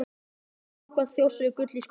Samkvæmt þjóðsögu er gull í Skógafossi.